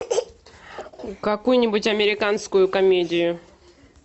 какую нибудь американскую комедию